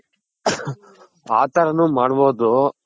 ಆ ತರ ನು ಮಾಡ್ಬೋದು.